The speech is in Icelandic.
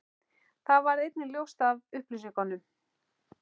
Það varð einnig ljóst af upplýsingum